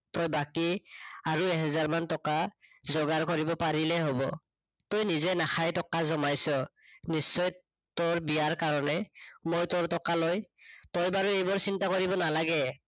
তই বাকী, আৰু এহাজাৰমান টকা যোগাৰ কৰিব পাৰিলে হব। তই নিজে নাখায় টকা জমাইছ, নিশ্চয় তোৰ বিয়াৰ কাৰনে। মই তোৰ টকা লৈ, তই বাৰু এইবোৰ চিন্তা কৰিব নালাগে